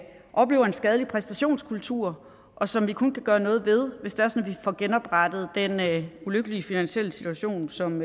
oplever en skadelig præstationskultur og som vi kun kan gøre noget ved hvis det er sådan at får genoprettet den ulykkelige finansielle situation som